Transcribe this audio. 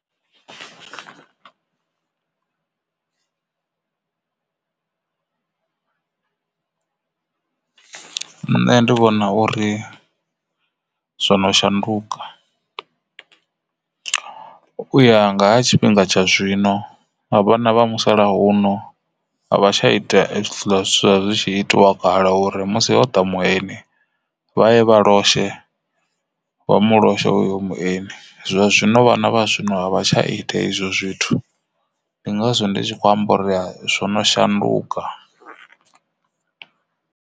Nṋe ndi vhona uri zwono shanduka u ya nga ha tshifhinga tsha zwino a vhana vha musalauno a vha tsha ita hezwiḽa zwa zwi tshi itiwa kale uri musi ho ḓa mueni vha ye vha loshe vha mu loshe hoyo mueni zwa zwino vhana vha zwino vha tsha ita izwo zwithu, ndi ngazwo ndi tshi khou amba uri zwo no shanduka.